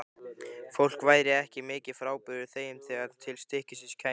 Fólk væri ekki mikið frábrugðið þeim þegar til stykkisins kæmi.